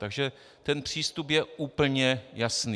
Takže ten přístup je úplně jasný.